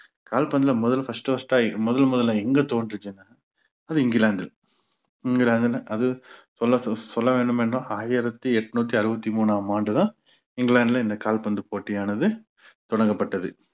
கால்பந்துல முதல் first first ஆகி முதல் முதல்ல எங்க தோன்றுச்சுன்னா அது இங்கிலாந்தில் இங்கிலாந்துல அது சொல்~ சொல்ல வேண்டும் என்றால் ஆயிரத்தி எட்நூத்தி அறுவத்தி மூணாம் ஆண்டுதான் இங்கிலாந்துல இந்த கால்பந்து போட்டியானது தொடங்கப்பட்டது